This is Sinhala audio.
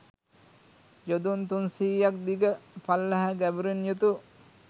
යොදුන් තුන් සියයක් දිග, පළල හා ගැඹුරින් යුතු